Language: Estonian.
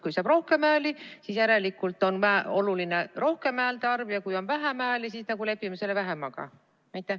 Kui saab rohkem hääli, siis järelikult on oluline suurem häälte arv, ja kui saab vähem hääli, siis lepime vähemaga?